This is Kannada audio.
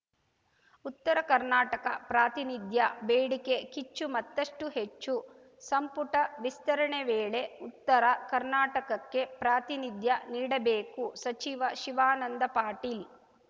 ಉತ್ತರ ಕರ್ನಾಟಕ ಪ್ರಾತಿನಿಧ್ಯ ಬೇಡಿಕೆ ಕಿಚ್ಚು ಮತ್ತಷ್ಟುಹೆಚ್ಚು ಸಂಪುಟ ವಿಸ್ತರಣೆ ವೇಳೆ ಉತ್ತರ ಕರ್ನಾಟಕಕ್ಕೆ ಪ್ರಾತಿನಿಧ್ಯ ನೀಡಬೇಕು ಸಚಿವ ಶಿವಾನಂದ ಪಾಟೀಲ್‌